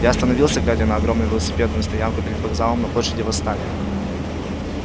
я остановился глядя на огромную велосипедную стоянку перед вокзалом на площади восстания